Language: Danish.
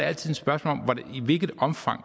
altid et spørgsmål om i hvilket omfang